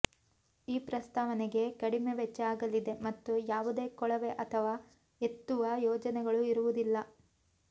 ಈ ಪ್ರಸ್ತಾವನೆಗೆ ಕಡಿಮೆ ವೆಚ್ಚ ಆಗಲಿದೆ ಮತ್ತು ಯಾವುದೇ ಕೊಳವೆ ಅಥವಾ ಎತ್ತುವ ಯೋಜನೆಗಳು ಇರುವುದಿಲ್ಲ